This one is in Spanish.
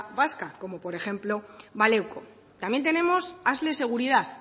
vasca como por ejemplo baleko también tenemos asle seguridad